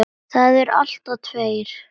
Það eru alltaf tveir